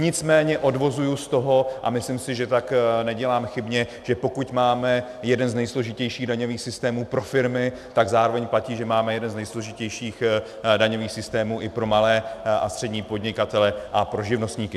Nicméně odvozuji z toho, a myslím si, že tak nedělám chybně, že pokud máme jeden z nejsložitějších daňových systémů pro firmy, tak zároveň platí, že máme jeden z nejsložitějších daňových systémů i pro malé a střední podnikatele a pro živnostníky.